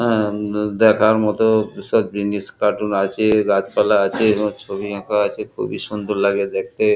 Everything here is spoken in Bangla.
হা দেখার মতো কিসব জিনিস কার্টুন আছে গাছপালা আছে এবং ছবি আঁকা আছে খুবই সুন্দর লাগে দেখতে ।